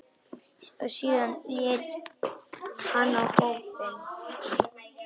Síðan leit hann á hópinn.